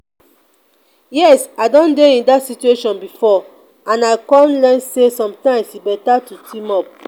yes i don dey in dat situation before and i come learn say sometimes e beta to team up.